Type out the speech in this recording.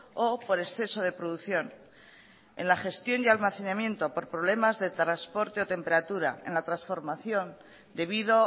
o por exceso de producción en la gestión y almacenamiento por problemas de transporte o temperatura en la transformación debido